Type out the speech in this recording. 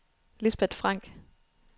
Lisbeth Frank